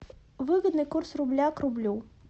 выгодный курс рубля к рублю